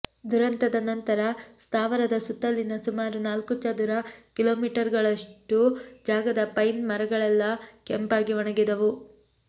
ದುರಂತದ ನಂತರ ಸ್ಥಾವರದ ಸುತ್ತಲಿನ ಸುಮಾರು ನಾಲ್ಕು ಚದುರ ಕಿಲೊಮೀಟರ್ಗಳಷ್ಟು ಜಾಗದ ಪೈನ್ ಮರಗಳೆಲ್ಲ ಒಣಗಿ ಕೆಂಪಾದವು